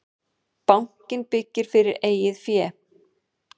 Bankinn byggir fyrir eigið fé